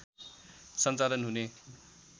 सञ्चालन हुने